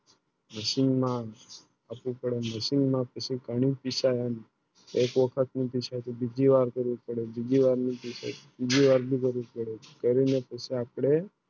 Machine માં અપને Machine માં કંઈક પીસાય એક વખત ની ની પીસાય તો બીજી વાર કરી પડે બીજી વાર ની પીસાય બીજી વાર ની કરું પડે કરીને આપણે